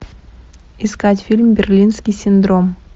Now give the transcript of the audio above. искать фильм берлинский синдром